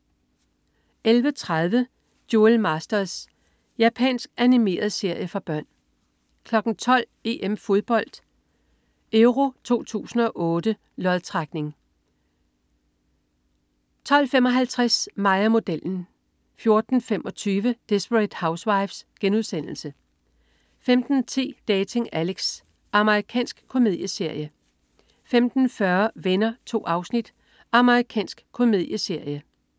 11.30 Duel Masters. Japansk animeret serie for børn 12.00 EM-Fodbold: EURO 2008 lodtrækning 12.55 Mig og modellen 14.25 Desperate Housewives* 15.10 Dating Alex. Amerikansk komedieserie 15.40 Venner. 2 afsnit. Amerikansk komedieserie